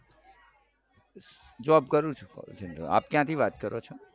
Job કરું છું call center માં આપ ક્યાંથી વાત કરો છો.